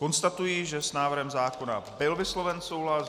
Konstatuji, že s návrhem zákona byl vysloven souhlas.